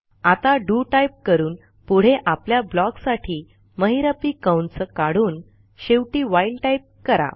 आता do type करून पुढे आपल्या ब्लॉक साठी महिरपी कंस काढून शेवटी WHILEटाईप करा